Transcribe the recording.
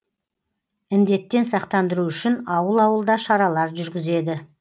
індеттен сақтандыру үшін ауыл ауылда шаралар жүргізеді